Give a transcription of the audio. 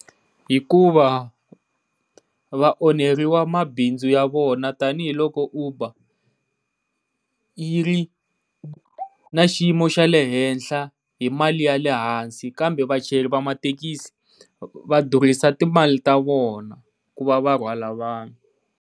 Hikuva va onheriwa mabindzu ya vona tanihiloko Uber yi ri na xiyimo xa le henhla hi mali ya lehansi, kambe vachayeri va mathekisi va durhisa timali ta vona ku va va rhwala vanhu.